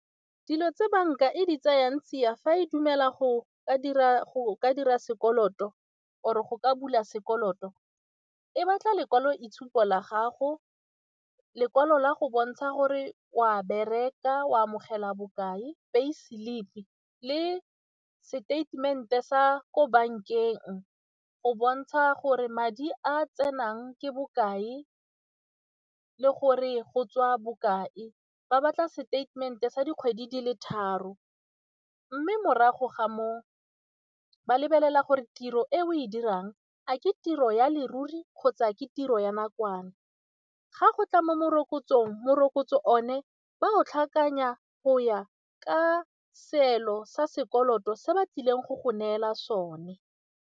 Dilo tse banka e di tseyang tsia fa e dumela go ka dira sekoloto or-re go ka bula sekoloto e batla lekwalo itshupo la gago, lekwalo la go bontsha gore o a bereka o amogela bokae pay slip le seteitemente sa ko bankeng go bontsha gore madi a tsenang ke bokae le gore go tswa bokae, ba batla seteitemente sa dikgwedi dile tharo mme morago ga moo ba lebelela gore tiro e o e dirang a ke tiro ya leruri kgotsa ke tiro ya nakwana. Ga go tla mo morokotsong, morokotso one ba o tlhakanya go ya ka seelo sa sekoloto se ba tlileng go go neela sone.